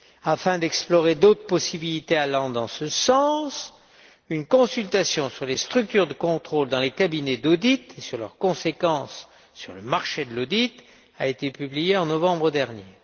Afin d'explorer d'autres possibilités allant dans ce sens, une consultation sur les structures de contrôle dans les cabinets d'audit et sur leurs conséquences sur le marché de l'audit a été publiée en novembre dernier.